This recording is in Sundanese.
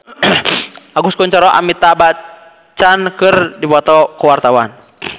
Agus Kuncoro jeung Amitabh Bachchan keur dipoto ku wartawan